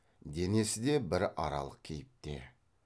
денесі де бір аралық кейіпте